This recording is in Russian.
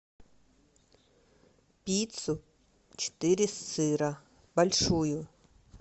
пиццу четыре сыра большую